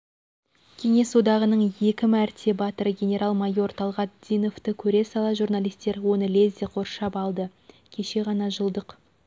кеңес одағының екі мәрте батыры генерал майор талғат диновты көре сала журналистер оны лезде қоршап алдыкеше ғана жылдық